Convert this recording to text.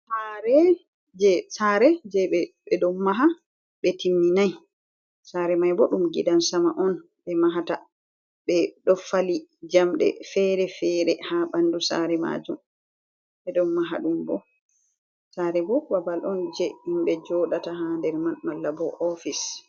Sare je ɓe ɗon maha ɓe timminai, sare mai bo ɗum gidan sama on ɓe mahata, ɓe ɗo fali jamɗe fere fere ha ɓandu sare majum, ɓeɗon maha ɗum bo, sare bo babal on je himbe joɗata ha nder man malla bo ofis.